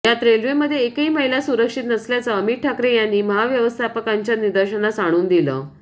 यात रेल्वेमध्ये एकही महिला सुरक्षित नसल्याचं अमित ठाकरे यांनी महाव्यवस्थापकांच्या निदर्शनात आणून दिलं